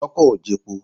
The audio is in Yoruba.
Ṣọ́kọ̀ ò jepo?